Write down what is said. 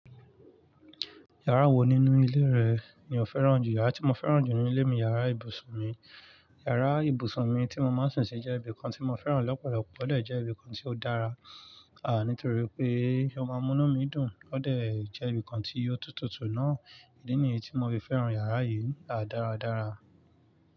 Yàrá wo nínú ilé rẹ ni o fẹ́ràn jù? Yàrá tí mo fẹ́ràn jù ní ilé mi ni yàrá ibùsùn mi. Yàrá ibùsùn mi tí mo máa ń sún sí jẹ́ ibi kan tí mo fẹ́ràn lọ́pọ̀lọpọ̀, ó dẹ̀ jẹ́ ibi kan tí ó dára. Àh ní torí pé ó máa mú inú mi dùn, ó dẹ̀ jẹ́ ibi kan tí ó tutù tù náà. Èyí ni èyí tí mo fi fẹ́ràn yàrá yìí, a dára dára.